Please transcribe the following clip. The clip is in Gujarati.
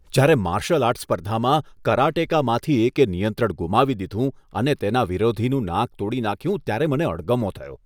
જ્યારે માર્શલ આર્ટ સ્પર્ધામાં કરાટેકેમાંથી એકે નિયંત્રણ ગુમાવી દીધું અને તેના વિરોધીનું નાક તોડી નાખ્યું ત્યારે મને અણગમો થયો.